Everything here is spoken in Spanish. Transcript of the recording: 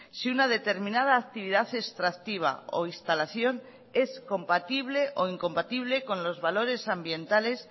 si una determinada actividad extractiva o instalación es compatible o incompatible con los valores ambientales